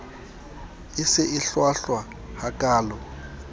e se e hlwahlwa hakaalo